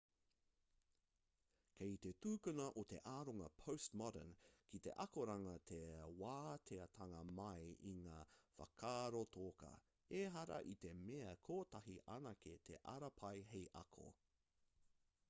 kei te tukuna e te aronga postmodern ki te akoranga te wāteatanga mai i ngā whakaaro toka ehara i te mea kotahi anake te ara pai hei ako